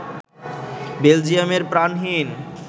বেলজিয়ামের প্রাণহীন